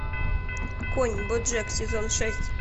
конь боджек сезон шесть